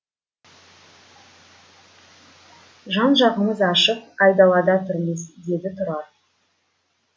жан жағымыз ашық айдалада тұрмыз деді тұрар